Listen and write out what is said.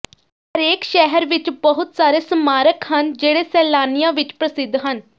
ਹਰੇਕ ਸ਼ਹਿਰ ਵਿਚ ਬਹੁਤ ਸਾਰੇ ਸਮਾਰਕ ਹਨ ਜਿਹੜੇ ਸੈਲਾਨੀਆਂ ਵਿਚ ਪ੍ਰਸਿੱਧ ਹਨ